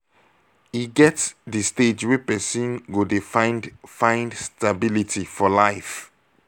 e get di stage wey person go dey find find stability for life